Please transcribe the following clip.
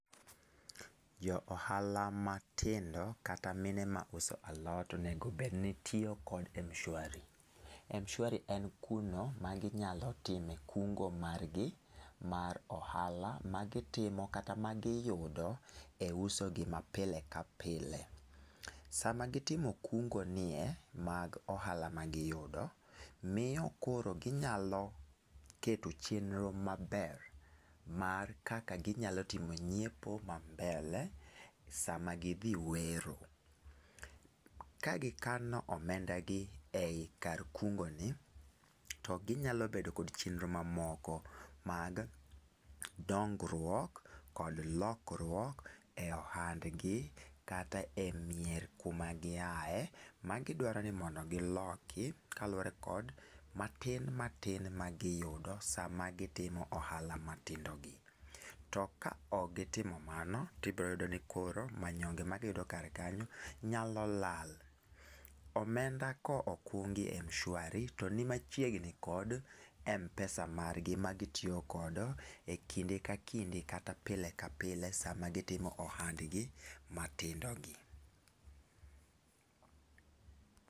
Ja ohala matindo kata mine mauso alot onedo obed ni tiyo gi Mshwari. Mshwari en kuno maginyalo timo kungo margi mar ohala ma gitimo kata ma giyudo e usogi ma pile ka pile. Sama gitimo kungo nie mag ohala magiyudo, miyo koro ginyalo keto chenro maber mar kaka ginyalo timo nyiepo ma mbele sama gidhi wero. Ka gikano omenda gi ei kar kungo ni to ginyalo bedo kod chenro mamoko mag dongruok kod lokruok e ohandgi kata e mier kuma giyae magidwaro ni mondo giloki kaluore kod matin matin ma giyudo sama gitimo ohala matindo gi. To ka ok gitimo mano to ibiro yudo ni koro manyonge ma giyudo kar kanyo nyalo lal. Omenda ka okungi e Mshawari toni machiegni kod Mpesa margi magitiyo godo e kinde ka kinde kata pile ka pile sama gitimo ohandgi matindo gi